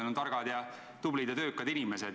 Nad on targad ja tublid ja töökad inimesed.